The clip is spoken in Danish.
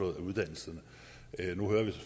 af uddannelserne